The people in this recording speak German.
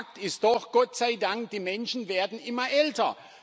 Fakt ist doch Gott sei Dank Die Menschen werden immer älter.